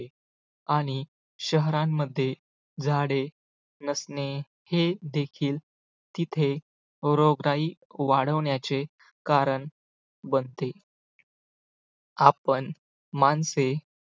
आणि शहरांमध्ये झाडे नसणे हे देखील तिथे रोगराई वाढवण्याचे कारण बनते. आपण माणसे